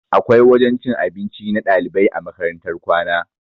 Akwai wajen cin abinci na ɗalibai a makarantar kwana